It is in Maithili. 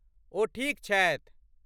ओ ठीक छथि।